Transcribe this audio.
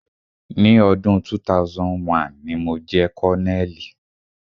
Ni ọdún 2001, ni mo jẹ́ colonel.